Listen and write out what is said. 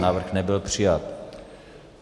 Návrh nebyl přijat.